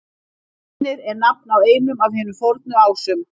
Hænir er nafn á einum af hinum fornu Ásum.